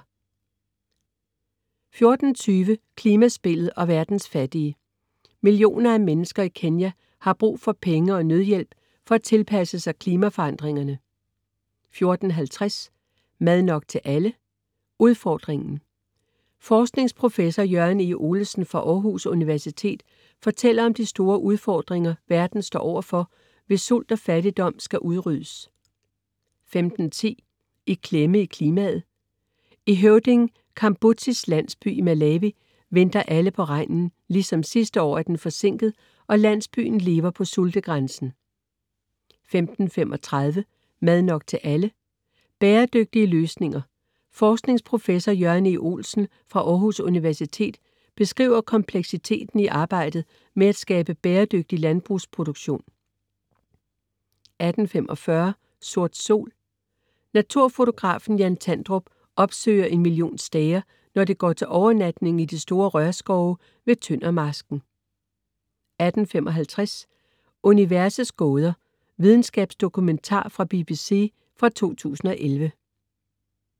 14.20 Klimaspillet og verdens fattige. Millioner af mennesker i Kenya har brug for penge og nødhjælp for at tilpasse sig klimaforandringerne 14.50 Mad nok til alle? Udfordringen. Forskningsprofessor Jørgen E. Olesen fra Aarhus Universitet fortæller om de store udfordringer, verden står overfor hvis sult og fattigdom skal udryddes 15.10 I klemme i klimaet. I Høvding Kambudzi's landsby i Malawi venter alle på regnen. Ligesom sidste år er den forsinket, og landsbyen lever på sultegrænsen 15.35 Mad nok til alle? Bæredygtige løsninger. Forskningsprofessor Jørgen E. Olesen fra Aarhus Universitet beskriver kompleksiteten i arbejdet med at skabe bæredygtig landbrugsproduktion 18.45 Sort sol. Naturfotografen Jan Tandrup opsøger en million stære, når de går til overnatning i de store rørskove ved Tønder Marsken 18.55 Universets gåder. Videnskabsdokumentar fra BBC fra 2011